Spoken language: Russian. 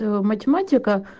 математика